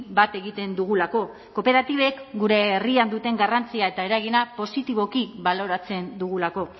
bat egiten dugulako kooperatibek gure herrian duten garrantzia eta eragina positiboki baloratzen dugulako